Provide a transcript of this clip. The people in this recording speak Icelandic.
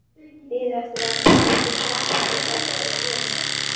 Biðu eftir að ég settist og tæki þátt í fjörinu.